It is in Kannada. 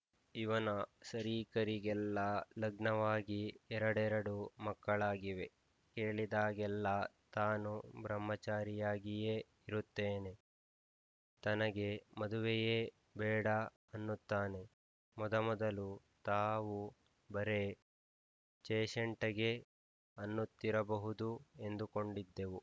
ಇವನ ಸರೀಕರಿಗೆಲ್ಲ ಲಗ್ನವಾಗಿ ಎರಡೆರಡು ಮಕ್ಕಳಾಗಿವೆ ಕೇಳಿದಾಗೆಲ್ಲ ತಾನು ಬ್ರಹ್ಮಚಾರಿಯಾಗಿಯೇ ಇರುತ್ತೇನೆ ತನಗೆ ಮದುವೆಯೇ ಬೇಡ ಅನ್ನುತ್ತಾನೆ ಮೊದಮೊದಲು ತಾವು ಬರೇ ಚೇಶಂಟೆಗೆ ಅನ್ನುತ್ತಿರಬಹುದು ಎಂದುಕೊಂಡಿದ್ದೆವು